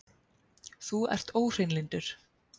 Þú ert óhreinlyndur!